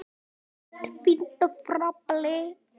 Allt er fínt og fágað.